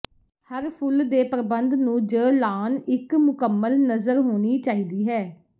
ਹਰ ਫੁੱਲ ਦੇ ਪ੍ਰਬੰਧ ਨੂੰ ਜ ਲਾਅਨ ਇੱਕ ਮੁਕੰਮਲ ਨਜ਼ਰ ਹੋਣੀ ਚਾਹੀਦੀ ਹੈ